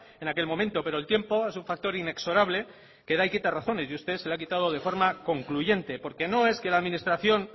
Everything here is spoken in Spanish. en aquel momento pero el tiempo es un factor inexorable que da y quita razones y a usted se la ha quitado de forma concluyente porque no es que la administración